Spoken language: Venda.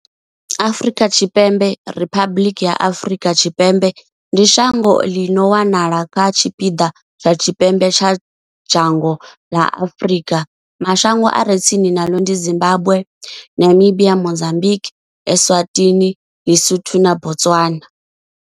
Afrika Tshipembe Riphabuḽiki ya Afrika Tshipembe ndi shango ḽi no wanala kha tshipiḓa tsha tshipembe tsha dzhango ḽa Afurika. Mashango a re tsini naḽo ndi Zimbagwe, Namibia, Mozambikwi, Eswatini, Ḽisotho na Botswana.